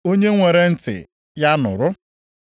Onye nwere ntị ya nụrụ.